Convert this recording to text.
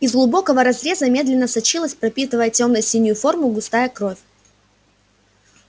из глубокого разреза медленно сочилась пропитывая тёмно-синюю форму густая кровь